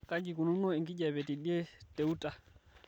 kaji eikununo enkijiape teidie te utah